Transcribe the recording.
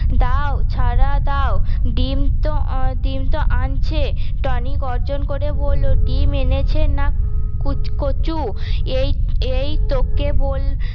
দাও ছাড়া দাও ডিম তো ডিম তো আনছে টনি গর্জন করে বললো ডিম এনেছে না কুচ কচু এই এই তোকে বল